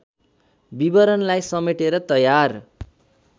विवरणलाई समेटेर तयार